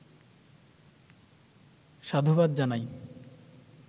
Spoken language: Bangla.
সাধুবাদ জানাই